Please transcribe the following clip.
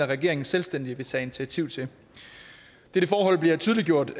regeringen selvstændigt vil tage initiativ til dette forhold blev tydeliggjort